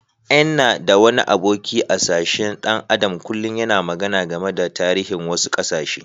N'na da wani aboki a'sashen dan Adam kullum yana magana game da tarihin wasu kasashe.